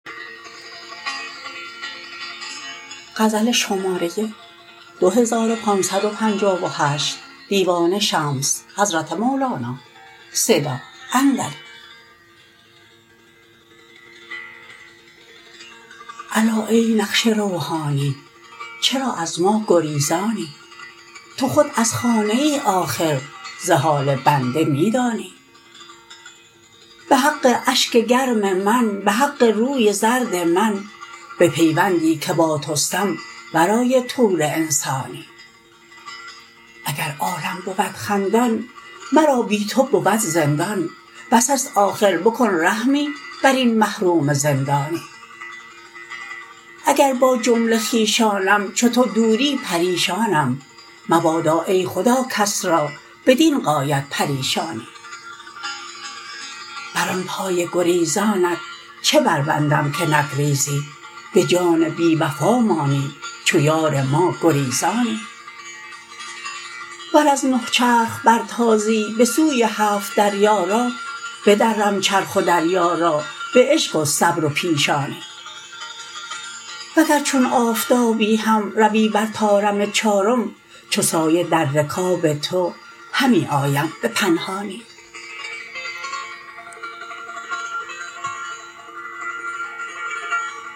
الا ای نقش روحانی چرا از ما گریزانی تو خود از خانه آخر ز حال بنده می دانی به حق اشک گرم من به حق روی زرد من به پیوندی که با تستم ورای طور انسانی اگر عالم بود خندان مرا بی تو بود زندان بس است آخر بکن رحمی بر این محروم زندانی اگر با جمله خویشانم چو تو دوری پریشانم مبادا ای خدا کس را بدین غایت پریشانی بر آن پای گریزانت چه بربندم که نگریزی به جان بی وفا مانی چو یار ما گریزانی ور از نه چرخ برتازی بسوزی هفت دریا را بدرم چرخ و دریا را به عشق و صبر و پیشانی وگر چو آفتابی هم روی بر طارم چارم چو سایه در رکاب تو همی آیم به پنهانی